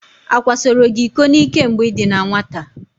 Akwasoro gị iko n'ike mgbe ị dị na nwata?